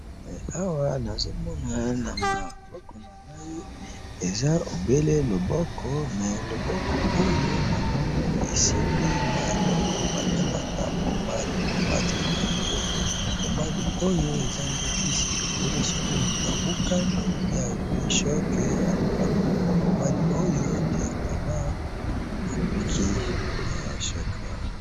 Awa nazomona namaboko nangi eza obele lokolo mais loboko oyo namoni esimbi mwa eloko babengaka pomade pomade oyo eza nde kisi soki moto azwi choc oko pakola pe abiki